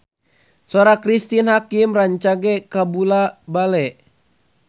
Sora Cristine Hakim rancage kabula-bale